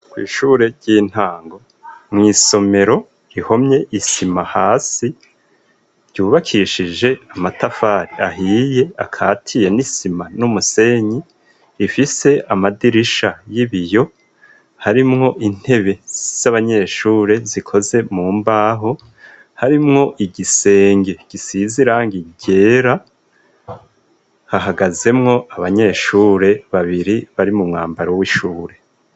Kw'ishure ry'intango, mw'isomero rihomye isima hasi ryubakishije amatafari ahiye akatiye n'isima n'umusenyi, ifise amadirisha y'ibiyo, harimwo intebe z'abanyeshure zikoze mu mbaho, harimwo igisenge gisize irangi ryera, hahagazemwo abanyeshure babiri bari mu mwambaro w'ishure.